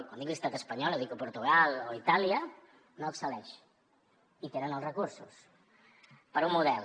i quan dic l’estat espanyol o dic portugal o itàlia no excel·leixen i tenen els recursos per un model